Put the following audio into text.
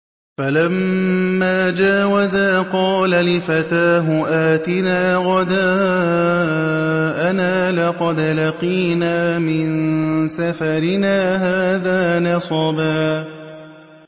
فَلَمَّا جَاوَزَا قَالَ لِفَتَاهُ آتِنَا غَدَاءَنَا لَقَدْ لَقِينَا مِن سَفَرِنَا هَٰذَا نَصَبًا